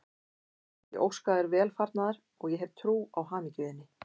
Ég óska þér velfarnaðar og ég hef trú á hamingju þinni.